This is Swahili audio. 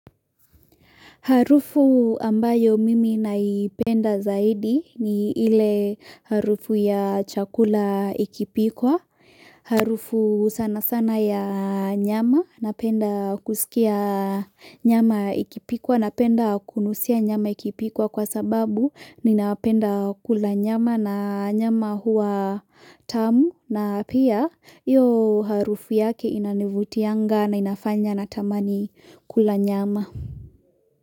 Harufu ambayo mimi naipenda zaidi ni ile harufu ya chakula ikipikwa, harufu sana sana ya nyama, napenda kusikia nyama ikipikwa, napenda kunusia nyama ikipikwa kwa sababu ninapenda kula nyama, na nyama huwa tamu na pia iyo harufu yake inanivutianga na inafanya na tamani kula nyama.